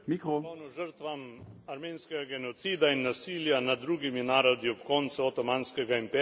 žrtvam armenskega genocida in nasilja nad drugimi narodi ob koncu Otomanskega imperija.